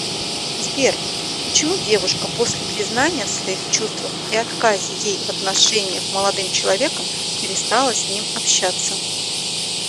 сбер почему девушка после признания в своих чувствах и отказе ей в отношениях молодым человеком перестала с ним общаться